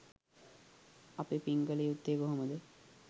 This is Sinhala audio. අපි පින් කළ යුත්තේ කොහොමද